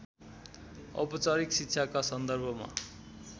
औपचारिक शिक्षाका सन्दर्भमा